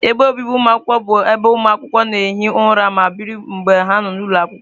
Ebe obibi ụmụakwụkwọ bụ ebe ụmụ akwụkwọ na-ehi ụra ma biri mgbe ha nọ n'ụlọ akwụkwọ.